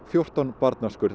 fjórtán